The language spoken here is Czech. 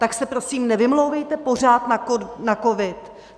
Tak se prosím nevymlouvejte pořád na covid.